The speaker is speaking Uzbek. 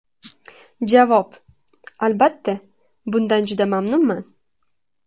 Javob: Albatta, bundan juda mamnunman.